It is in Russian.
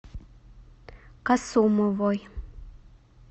касумовой